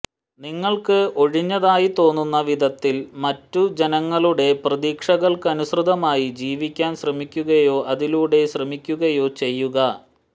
നിങ്ങൾക്ക് ഒഴിഞ്ഞതായി തോന്നുന്ന വിധത്തിൽ മറ്റു ജനങ്ങളുടെ പ്രതീക്ഷകൾക്കനുസൃതമായി ജീവിക്കാൻ ശ്രമിക്കുകയോ അതിലൂടെ ശ്രമിക്കുകയോ ചെയ്യുക